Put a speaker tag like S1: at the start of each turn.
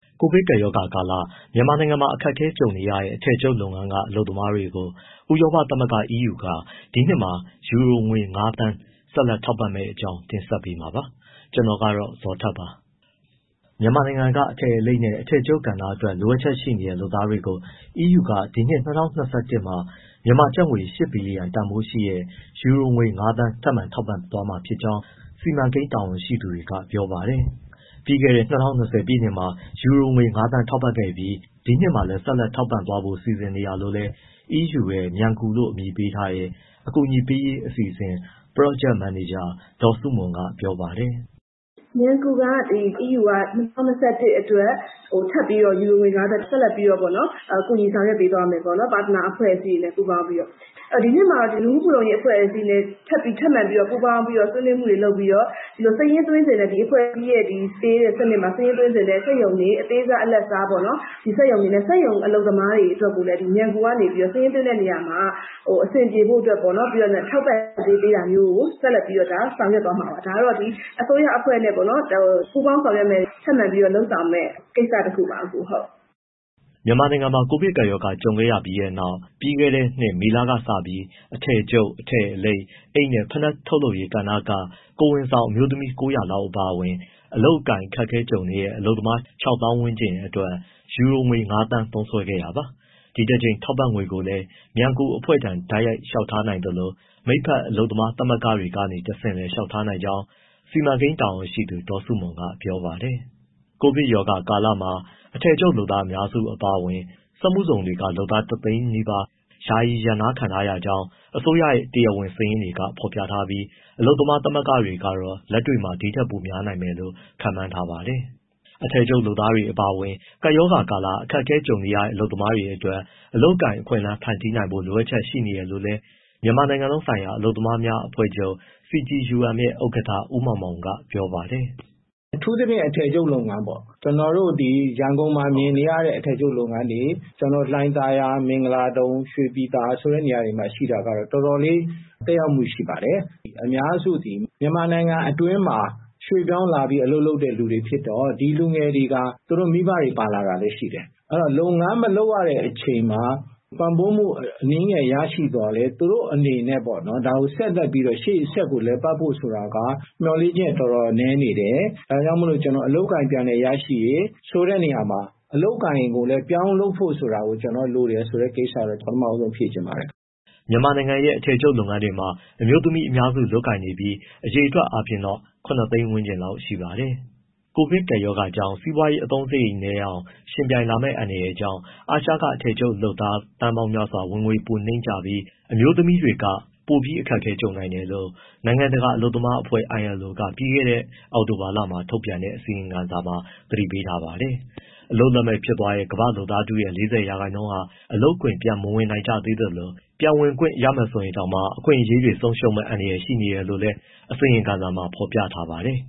S1: ကိုဗစ်ကပ်ရောဂါကာလ မြန်မာနိုင်ငံမှာ အခက်အခဲကြုံနေရတဲ့ အထည်ချုပ်လုပ်ငန်းက အလုပ်သမားတွေကို ဥရောပသမဂ္ဂ EU က ဒီနှစ်မှာ ယူရိုငွေ ၅,၀၀၀,၀၀၀ ဆက်လက် ထောက်ပံ့မယ့်အကြောင်း တင်ဆက်ပေးမှာပါ။ ဗွီအိုအေမြန်မာပိုင်းသတင်းထောက် ကိုဇော်ထက်က သတင်းပေးပို့ထားပါတယ်။ မြန်မာနိုင်ငံက အထည်အလိပ်နဲ့ အထည်ချုပ်ကဏ္ဍက လိုအပ်ချက်ရှိနေတဲ့ လုပ်သားတွေကို EU က ဒီနှစ် ၂၀၂၁ ခုနှစ်မှာ မြန်မာကျပ်ငွေ ၈ ဘီလီယံ တန်ဖိုးရှိတဲ့ ယူရိုငွေ ၅,၀၀၀,၀၀၀ ထပ်မံထောက်ပံ့သွားမှာဖြစ်ကြောင်း စီမံကိန်းတာဝန်ရှိသူတွေက ပြောပါတယ်။ ပြီးခဲ့တဲ့ ၂၀၂၀ ပြည့်နှစ်မှာ ယူရိုငွေ ၅,၀၀၀,၀၀၀ ထောက်ပံ့ခဲ့ပြီးနောက် ဒီနှစ်မှာလည်း ဆက်လက် ထောက်ပံ့သွားဖို့ စီစဉ်နေတာလို့လည်း EU ရဲ့ “မြန်ကူ” လို့ အမည်ပေးထားတဲ့ အကူအညီပေးရေး အစီအစဉ်က Project Manager ဒေါ်စုမွန်က ပြောပါတယ်။
S2: “မြန်ကူ က EU က ၂၀၂၁ အတွက် ထပ်ပြီးတော့ ယူရိုငွေ ၅,၀၀၀,၀၀၀ ဆက်လက်ပြီးတော့ ကူညီဆောင်ရွက် ပေးသွားမယ်ပေါ့။ partnet အဖွဲ့အစည်းတွေနဲ့ ပူးပေါင်းပြီးတော့။ ဒီနှစ်မှာ လူမှုဖူလုံရေး အဖွဲ့အစည်းတွေနဲ့ ထပ်မံပြီးတော့ ပူးပေါင်းပြီးတော့ ဆွေးနွေးမှုတွေ လုပ်ပြီးတော့ စာရင်းသွင်းချင်တဲ့ အဖွဲ့အစည်းမှာ စာရင်းသွင်းချင်တဲ့ စက်ရုံတွေ၊ အသေးစား၊ အလတ်စားပေါ့နော်။ ဒီစက်ရုံတွေနဲ့ စက်ရုံအလုပ်သမားတွေ အတွက်ကိုလည်း “မြန်ကူ” က စာရင်းသွင်းတဲ့နေရာမှာ အဆင်ပြေဖို့အတွက်ကို ထောက်ပံ့ကြေးပေးတာမျိုးကို ဆက်လက်ပြီးတော့ ဆောင်ရွက်သွားမှာပါ။ ဒါ အစိုးရအဖွဲ့နဲ့ ပူးပေါင်း ဆောက်ရွက်မယ့် ထပ်မံပြီးတော့လုပ်ဆောင်မယ့် ကိစ္စတခုပါပဲ။”
S1: မြန်မာနိုင်ငံမှာ ကိုဗစ်ကပ်ရောဂါ ကြုံခဲ့ရပြီးနောက် ပြီးခဲ့တဲ့နှစ် မေကလစပြီး အထည်ချုပ်၊ အထည်အလိပ်၊ အိပ်နဲ့ ဖိနပ်ထုတ်လုပ်ရေး ကဏ္ဍတွေက ကိုယ်ဝန်ဆောင် အမျိုးသမီး ၉၀၀ လောက် အပါအဝင် အလုပ်အကိုင် အခက်အခဲကြုံနေရတဲ့ အလုပ်သမား ၆၀,၀၀၀ ကျော်အတွက်ယူရိုငွေ ၅,၀၀၀,၀၀၀ သုံးစွဲခဲ့တာပါ။ ဒီတကြိမ် ထောက်ပံ့ငွေကိုလည်း မြန်ကူအဖွဲ့ထံ တိုက်ရိုက် လျှောက်ထားနိုင်သလို မိတ်ဖက် အလုပ်သမားသမဂ္ဂတွေကနေ တဆင့်လည်း လျှောက်ထားနိုင်ကြောင်း စီမံကိန်းတာဝန်ရှိသူ ဒေါ်စုမွန်က ပြောပါတယ်။ ကိုဗစ်ကပ်ရောဂါကာလမှာ အထည်ချုပ်လုပ်သား အများစုအပါအဝင် စက်မှုဇုန်တွေက လုပ်သား ၁၀၀,၀၀၀ ကျော် အလုပ်ကနေ ယာယီရပ်နားခံထားရကြောင်း အစိုးရရဲ့ တရားဝင်စာရင်းတွေက ဖော်ပြထားပြီး အလုပ်သမားသမဂ္ဂတွေကတော့ လက်တွေ့မှာ ဒီထက်ပိုများလိမ့်မယ်လို့ ခန့်မှန်းထားပါတယ်။ အထည်ချုပ်လုပ်သားတွေ အပါအဝင် ကပ်ရောဂါကာလ အခက်အခဲ ကြုံရတဲ့ အလုပ်သမားတွေအတွက် အလုပ်အကိုင် အခွင့်အလမ်းတွေ ဖန်တီးနိုင်ဖို့ လိုအပ်ချက်တွေ ရှိနေတယ်လို့လည်း မြန်မာနိုင်ငံလုံးဆိုင်ရာ အလုပ်သမားများအဖွဲ့ချုပ် CTUM ရဲ့ ဥက္ကဋ္ဌ ဦးမောင်မောင်က ပြောပါတယ်။
S3: “အထူးသဖြင့် အထည်ချုပ်လုပ်ငန်းပေါ့ ကျနော်တို့ ရန်ကုန်မှာမြင်နေရတဲ့ အထည်ချုပ်လုပ်ငန်းတွေ ကျနော်တို့ လှိုင်သာယာ၊ မင်္ဂလာဒုံ၊ ရွှေပြည်သာ ဆိုတဲ့နေရာတွေမှာ ရှိတာကတော့ တော်တော်လေး သက်ရောက်မှု ရှိပါတယ်။ အများစုသည် မြန်မာနိုင်ငံအတွင်းမှာ ရွှေ့ပြောင်းလာပြီး အလုပ်လုပ်တဲ့သူတွေ ဖြစ်တော့ ဒီလူငယ်တွေဟာ သူတို့မိဘတွေ ပါလာတာလည်းရှိတယ်။ အဲဒီတော့ လုပ်ငန်းမလုပ်ရတဲ့အချိန်မှာ ပံ့ပိုးမှု အနည်းငယ် ရရှိသော်လည်း သူတို့အနေနဲ့ ဒါကိုဆက်လက်ပြီးတော့ လည်ပတ်ဖို့ဆိုတာက မျှော်လင့်ချက် တော်တော်နည်းနေတယ်။ ဒါကြောင့်မို့ ကျနော်အလုပ်အကိုင် ပြန်လည်ရရှိရေး ဆိုတဲ့နေရာမှာ အလုပ်အကိုင်ကိုလည်း ပြောင်းလုပ်ဖို့ဆိုတာကို လိုတယ်ဆိုတဲ့ကိစ္စကတော့ ပထမဦးဆုံး ဖြေချင်ပါတယ်။
S1: ” မြန်မာနိုင်ငံရဲ့ အထည်ချုပ်လုပ်ငန်းတွေမှာ အမျိုးသမီးအများစု လုပ်ကိုင်နေပြီး အရေအတွက်အားဖြင့်တော့ ၇၀၀,၀၀၀ လောက်ရှိပါတယ်။ ကိုဗစ်ကပ်ရောဂါကြောင့် စီးပွားရေး အသုံးစရိတ်နည်းအောင် ယှဉ်ပြိုင်လာမယ့် အန္တရာယ်ကြောင့် အာရှက အထည်ချုပ်လုပ်သား သန်းပေါင်းများစွာ ဝင်ငွေပိုနိမ့်ကျပြီး အမျိုးသမီးတွေ ပိုအခက်အခဲကြုံနိုင်တယ်လို့ နိုင်ငံတကာအလုပ်သမားအဖွဲ့ ILO က ပြီးခဲ့တဲ့ အောက်တိုဘာလက ထုတ်ပြန်တဲ့ အစီရင်ခံစာမှာ သတိပေးထားပါတယ်။ အလုပ်လက်မဲ့ဖြစ်သွားတဲ့ ကမ္ဘာ့လုပ်သားထုရဲ့ ၄၀ ရာခိုင်နှုန်းဟာ အလုပ်ခွင် ပြန်မဝင်နိုင်ကြသေးသလို၊ ပြန်ဝင်ခွင့်ရမယ်ဆိုရင်တောင်မှ အခွင့်အရေးတွေ ဆုံးရှုံးမယ့်အန္တရာယ် ရှိနေတယ်လို့လည်း အစီရင်ခံစာမှာ ဖော်ပြထားပါတယ်